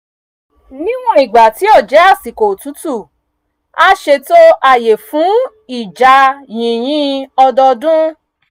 níwọ̀n ìgbà tí ó jẹ́ àsìkò otútù a ṣètò ààyè fún ìjà yìnyín ọdọọdún